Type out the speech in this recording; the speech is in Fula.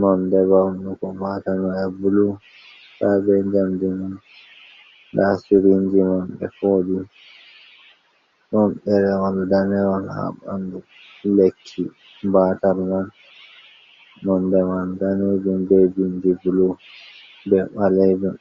nonde mawnugo baatal may bulu, haa bee jannde man, ndaa Surinji man ɓe fooɗi, ɗon ɗerewol daneewol haa ɓandu lekki baatal man, nonde man daneejum bee binndi bulu bee ɓaleejum.